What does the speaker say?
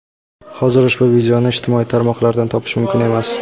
Hozir ushbu videoni ijtimoiy tarmoqlardan topish mumkin emas.